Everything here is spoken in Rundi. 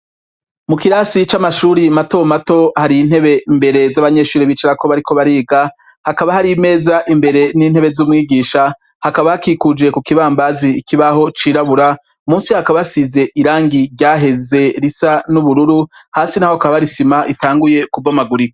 Mu kirasi c'amashuri matomato hari intebe mbere z'abanyeshure bicarako bariko bariga hakaba hari imeza imbere n'itebe z'umwigisha, hakaba hakikuje kukibambazi ikibaho cirabura munsi hakaba hasize irangi ryaheze risa n'ubururu ,hasi naho hakaba hari isima itanguye kubomagurika.